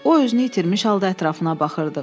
O özünü itirmiş halda ətrafına baxırdı.